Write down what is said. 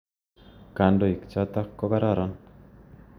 Kandoik chotok ko kororon.